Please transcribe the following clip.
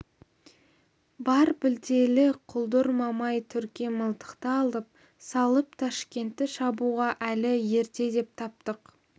бар білтелі құлдыр мамай түрке мылтықты алып салып ташкентті шабуға әлі ерте деп таптық